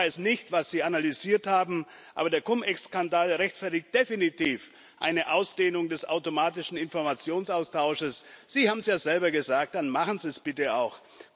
Ich weiß nicht, was Sie analysiert haben, aber der Cum Ex Skandal rechtfertigt definitiv eine Ausdehnung des automatischen Informationsaustausches. Sie haben es ja selber gesagt, dann machen Sie es bitte auch!